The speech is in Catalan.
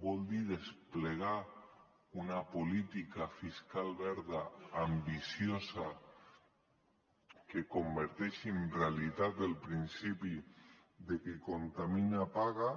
vol dir desplegar una política fiscal verda ambiciosa que converteixi en realitat el principi de qui contamina paga